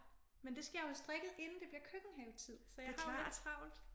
Men det skal jeg jo have strikket inden det bliver køkkenhave tid så jeg har jo lidt travlt